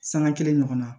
Sanga kelen ɲɔgɔnna na